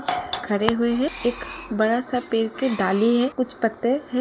खड़े हुए है। एक बड़ा सा पेड़ के डाली है। कुछ पत्ते है।